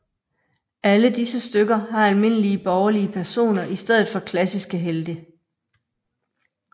Alle disse stykker har almindelige borgerlige personer i stedet for klassiske helte